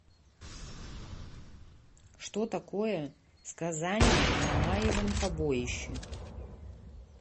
что такое сказание о мамаевом побоище